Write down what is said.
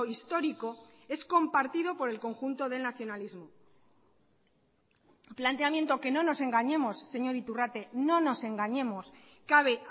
histórico es compartido por el conjunto del nacionalismo planteamiento que no nos engañemos señor iturrate no nos engañemos cabe